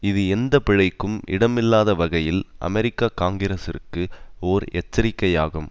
இது எந்த பிழைக்கும் இடமில்லாத வகையில் அமெரிக்க காங்கிரசிற்கு ஒர் எச்சரிக்கையாகும்